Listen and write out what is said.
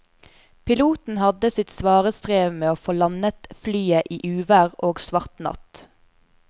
Piloten hadde sitt svare strev med å få landet flyet i uvær og svart natt.